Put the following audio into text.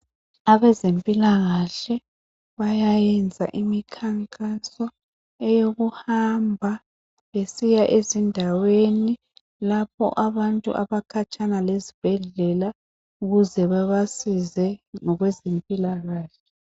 Abezempilakahle bayayenza imikhankaso eyokuhamba besiya ezindaweni lapho abantu abakhatshana lezibhedlela ukuze babasize ngokwezempilakahle.